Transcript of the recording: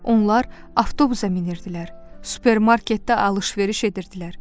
Onlar avtobusa minirdilər, supermarketdə alış-veriş edirdilər.